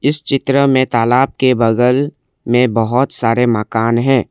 इस चित्र में तालाब के बगल में बहोत सारे मकान हैं।